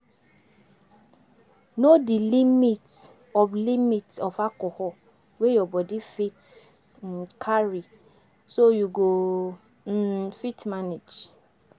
Know di limit of limit of alcohol wey your body fit um carry so you go um fit manage